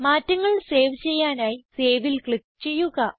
മാറ്റങ്ങൾ സേവ് ചെയ്യാനായി Saveൽ ക്ലിക്ക് ചെയ്യുക